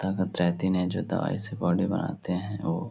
ताकत रहती नहीं जो दवाई से बॉडी बनाते हैं ओ --